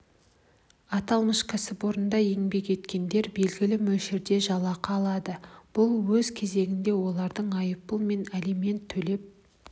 аталмыш кәсіпорындарда еңбек еткендер белгілі мөлшерде жалақы алады бұл өз кезегінде олардың айыппұл мен алимент төлеп